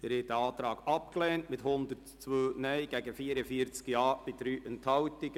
Sie haben den Antrag abgelehnt mit 102 Nein- gegen 44 Ja-Stimmen bei 3 Enthaltungen.